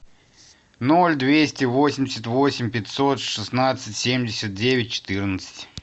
ноль двести восемьдесят восемь пятьсот шестнадцать семьдесят девять четырнадцать